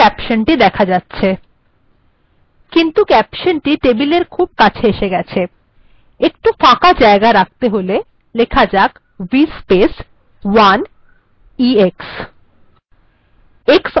এখন ক্যাপশন্টি দেখা যাচ্ছে কিন্তু এটি খুব ই কাছাকাছি এসে গেছে আমি একটু ফাঁকা জায়গা রাখতে চাই এটি vspace কমান্ড এর দ্বারা করা যেতে পারে 1 ex